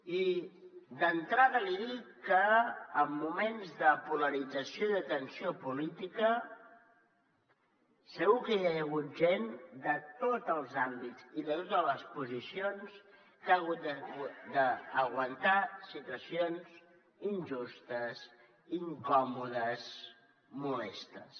i d’entrada li dic que en moments de polarització i de tensió política segur que ja hi ha hagut gent de tots els àmbits i de totes les posicions que ha hagut d’aguantar situacions injustes incòmodes molestes